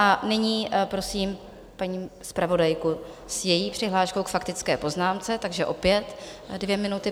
A nyní prosím paní zpravodajku s její přihláškou k faktické poznámce, takže opět dvě minuty.